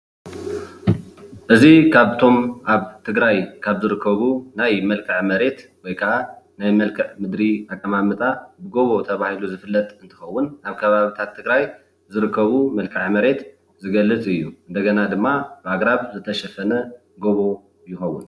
እዚ ካብቶም ኣብ ትግራይ ካብ ዝርከቡ መልከዐ መሬት ወይ ከዓ ናይ መልክዕ ምድሪ ኣቀማምጣ ጎቦ ተባሂሉ ዝፍለጥ እንትከውን ኣብ ከባቢታት ትግራይ ዝርከቡ መልከዐ መሬት ዝገልፅ እዩ፡፡ እንደገና ድማ ኣግራብ ዝተሸፈነ ጎቦ ይከውን፡፡